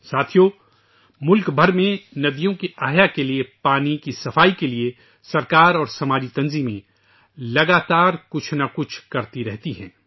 دوستو ، ملک بھر میں ندیوں کو از سرنو زندہ کرنے کے لیے ، پانی کی صفائی کے لیے حکومت اور سماجی تنظیمیں مسلسل کچھ نہ کچھ کرتی رہتی ہیں